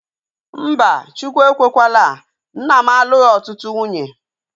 Mba, Chukwu ekwekwaala, nna m alụghi ọtụtụ nwunye